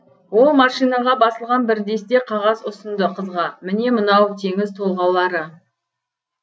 ол машинаға басылған бір десте қағаз ұсынды қызға міне мынау теңіз толғаулары